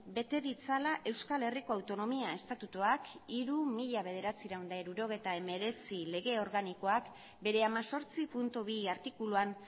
bete ditzala euskal herriko autonomia estatutuak hiru barra mila bederatziehun eta hirurogeita hemeretzi lege organikoak bere hemezortzi puntu bi artikuluan